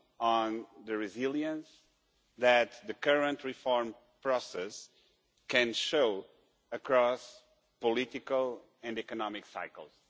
on the resilience that the current reform process can show across political and economic cycles.